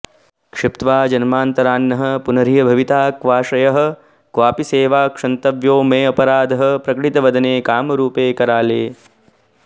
क्षिप्त्वा जन्मान्तरान्नः पुनरिहभविता क्वाश्रयः क्वापि सेवा क्षन्तव्यो मेऽपराधः प्रकटित वदने कामरूपे कराले